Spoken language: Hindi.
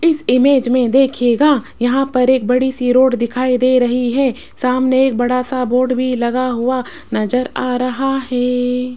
इस इमेज में देखिएगा यहां पर एक बड़ीसी रोड दिखाई दे रही हैं सामने एक बड़ासा बोर्ड भी लगा हुआ नजर आ रहा हैं।